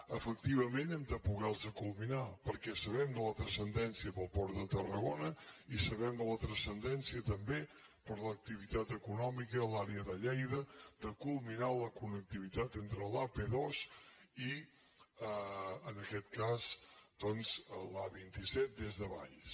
efectivament hem de poder·les culminar perquè sa·bem la transcendència per al port de tarragona i sabem la transcendència també per a l’activitat econòmica a l’àrea de lleida de culminar la connectivitat entre l’ap·dos i en aquest cas doncs l’a·vint set des de valls